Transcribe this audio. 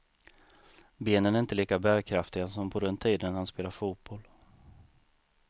Benen är inte lika bärkraftiga som på den tiden han spelade fotboll.